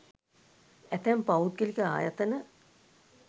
ඇතැම් පෞද්ගලික ආයතන